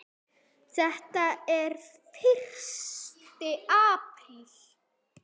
Þetta er fyrsti apríl.